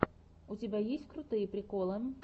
у тебя есть крутые приколы